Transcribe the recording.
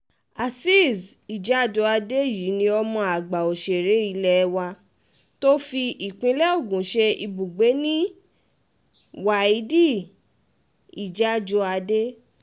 azeez ijàdùadé yìí ni ọmọ àgbà òṣèré ilé wa tó fi ìpínlẹ̀ ogun ṣe ibùgbé nni wáídì ìjàdùádè